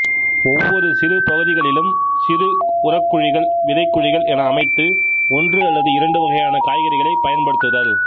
ஒவ்வொரு சிறு பகுதிகளிலும் சிறு உரக்குழிகள் விதைக் குழிகள் என அமைத்து ஒன்று அல்லது இரண்டு வகையான காய்கறிகளை பயன்படுத்துதல்